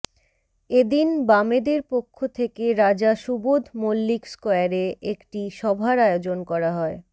এদিন বামেদের পক্ষ থেকে রাজা সুবধ মুল্লিক স্কোয়ারে একটি সভার আয়োজন করা হয়